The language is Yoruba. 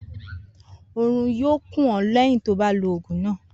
Orun yóò kùn ó léyìn tó o bá lo ògùn náà